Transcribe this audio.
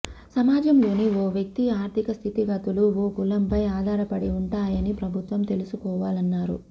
సమాజంలోని ఓ వ్యక్తి ఆర్థిక స్థితిగతులు ఓ కులంపై ఆధారపడి ఉంటాయని ప్రభుత్వం తెలుసుకోవాలన్నారు